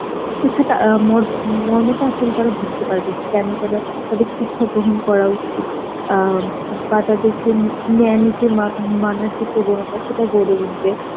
শিক্ষাটা আ মর্ম টা আসলে তারা বুঝতে পারবে যে কেন তারা, তাদের শিক্ষা গ্রহণ করা উচিত আ বা তাদের মানার চেয়ে প্রবণতা সেটা গড়ে উঠবে